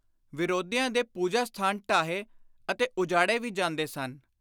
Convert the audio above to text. ਵਿਰੋਧੀਆਂ ਦੇ ਪੁਜਾ-ਸਥਾਨ ਢਾਹੇ ਅਤੇ ਉਜਾੜੇ ਵੀ ਜਾਂਦੇ ਸਨ।